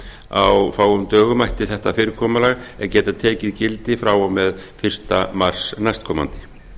á fáum dögum ætti þetta fyrirkomulag að geta tekið gildi frá og með fyrsta mars næstkomandi